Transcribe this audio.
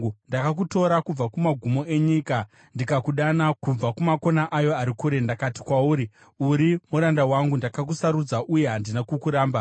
ndakakutora kubva kumagumo enyika, ndikakudana kubva kumakona ayo ari kure. Ndakati kwauri, ‘Uri muranda wangu,’ ndakakusarudza uye handina kukuramba.